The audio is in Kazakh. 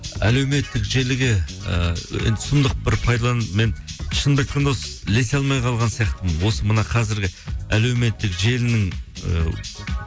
әлеуметтік желіге ііі енді сұмдық бір мен шынымды айтқанда осы ілесе алмай қалған сияқтымын осы мына қазіргі әлеуметтік желінің ы